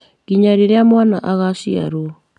nginya rĩrĩa mwana agaciarwo.